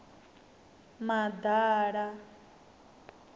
maḓala